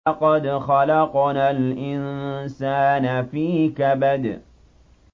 لَقَدْ خَلَقْنَا الْإِنسَانَ فِي كَبَدٍ